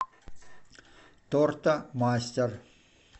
тортомастер